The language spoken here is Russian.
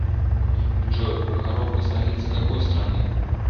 джой прохоровка столица какой страны